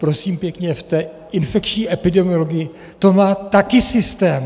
Prosím pěkně, v té infekční epidemiologii to má taky systém.